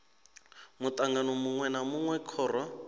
mutangano munwe na munwe khoro